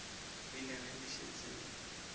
rile ge le šetše le